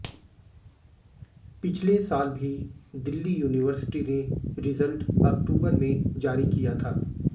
पिछले साल भी दिल्ली यूनिवर्सिटी ने रिजल्ट अक्टूबर में जारी किया था